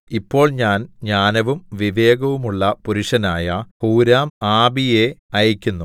ഇപ്പോൾ ഞാൻ ജ്ഞാനവും വിവേകവുമുള്ള പുരുഷനായ ഹൂരാംആബിയെ അയക്കുന്നു